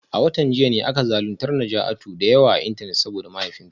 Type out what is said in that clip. A watan jiya ne aka zaluntar Najatu da yawa a Intanet saboda mahaifinta